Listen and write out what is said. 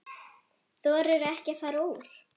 Þorirðu ekki að fara úr?